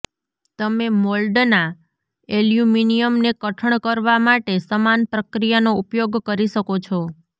તમે મોલ્ડના એલ્યુમિનિયમને કઠણ કરવા માટે સમાન પ્રક્રિયાનો ઉપયોગ કરી શકો છો